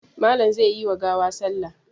Malam zai yi wa gawa salla.